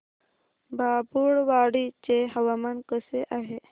बाभुळवाडी चे हवामान कसे आहे